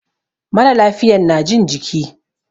Mara lafiyan na jin jiki.